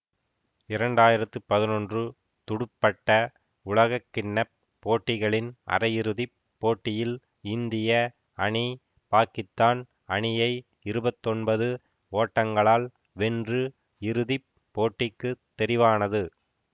இரண்டாயிரத்தி பதினொன்று துடுப்பட்ட உலகக்கிண்ண போட்டிகளின் அரையிறுதிப் போட்டியில் இந்திய அணி பாக்கித்தான் அணியை இருபத்தி ஒன்பது ஓட்டங்களால் வென்று இறுதி போட்டிக்கு தெரிவானது